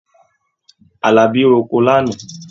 Àlàbí roko lánàá.